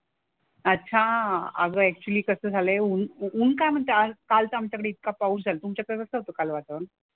अच्छा. अगं ऍक्चुअली कसं झालंय ऊन ऊन काय म्हणतंय आज? काल तर आमच्याकडे इतका पाऊस झाला. तुमच्याकडे कसं होतं काल वातावरण?